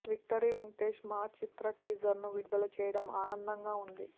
victory Venkatesh మా చిత్ర teaser ను విడుదల చేయడం ఆనందంగా ఉంది